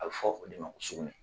A bɛ fɔ o de ma sugunɛ